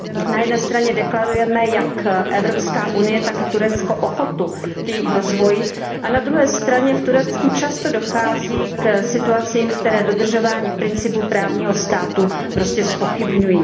Na jedné straně deklarujeme, jak EU, tak i Turecko ochotu k jejich rozvoji a na druhé straně v Turecku často dochází k situacím, které dodržování principů právního státu prostě zpochybňují.